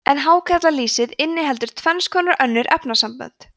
en hákarlalýsið inniheldur tvenns konar önnur efnasambönd